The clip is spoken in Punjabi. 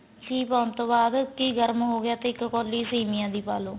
ਘੀ ਪਾਉਣ ਤੋਂ ਬਾਅਦ ਘੀ ਗਰਮ ਹੋਗਿਆ ਤਾਂ ਇੱਕ ਕੋਲੀ ਸੇਮੀਆਂ ਦ ਪਾ ਲੋ